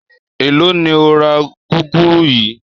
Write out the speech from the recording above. Èló ni o ra gúgúrú yìí?